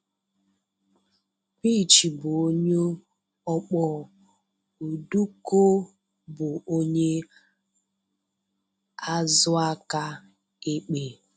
Bichi bụ onye ọkpọ; Oduko bụ onye azụ aka ekpe.